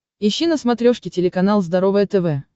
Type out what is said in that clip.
ищи на смотрешке телеканал здоровое тв